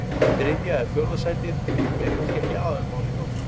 Þriðja eða fjórða sætið er kannski ekki aðalmálið hjá okkur.